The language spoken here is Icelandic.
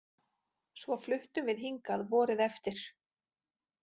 Svo fluttum við hingað vorið eftir.